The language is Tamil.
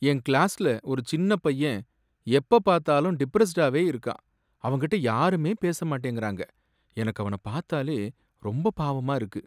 என் கிளாஸ்ல ஒரு சின்னப் பையன் எப்பபாத்தாலும் டிப்ரஸ்டாவே இருக்கான், அவன் கிட்ட யாருமே பேச மாட்டேங்கறாங்க. எனக்கு அவனைப் பார்த்தாலே ரொம்பப் பாவமா இருக்கு.